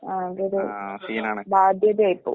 ആകെയൊരു ബാധ്യതയായിപ്പോവും.